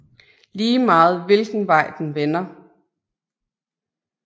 Lige meget hvilken vej den vender